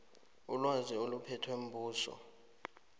ilwazi eliphethwe mbuso